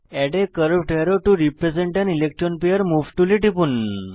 add a curved arrow to represent an electron pair move টুলে টিপুন